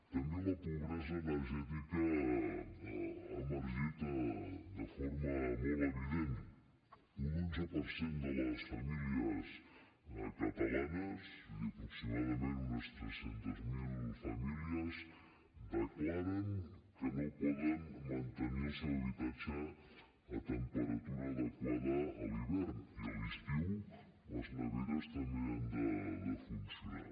també la pobresa energètica ha emergit de forma molt evident un onze per cent de les famílies catalanes és a dir aproximadament unes trescentes mil famílies declara que no poden mantenir el seu habitatge a temperatura adequada a l’hivern i a l’estiu les neveres també han de funcionar